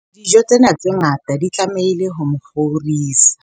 dijo tsena tse ngata di tlamehile ho mo kgorisa